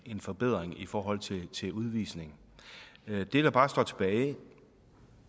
en forbedring i forhold til til udvisning det der bare står tilbage